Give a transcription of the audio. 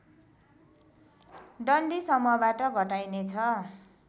डन्डी समूहबाट घटाइनेछ